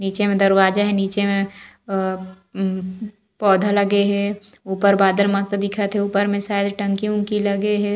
नीचे में दरवाजा हे निचे में आ उम्म पौधा लगे हे ऊपर बादल मस्त दिखत हे ऊपर में शायद टंकी उन्की लगे हे।